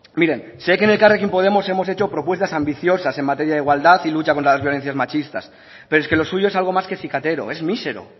miren sí que en elkarrekin podemos hemos propuesto ambiciosas en materia de igualdad y lucha contra las violencias machistas pero es que lo suyo es algo más que cicatero es mísero